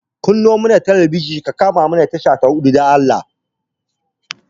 Kanno mana talabijin ka kama tasha ta huɗu, dan Allah.